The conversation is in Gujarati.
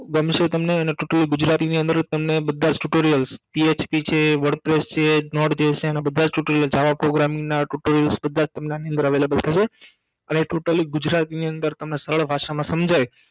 ગમસે તમને અને totally ગુજરાતીની અંદર જ Tutorials તમને બધા PHP છે wordpress છે notepad છે એનાબધા Tutorialsjava promising ના Tutorials બધાજ તમને આની અંદર avalible થશે અને totally ગુજરાતની અંદર તમને સરળ ભાષામાં સમજાય